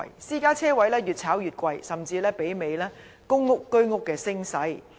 私家車車位越炒越貴，甚至媲美公屋和居屋的升勢。